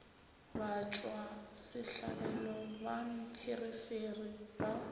batšwa sehlabelo ba mpherefere ba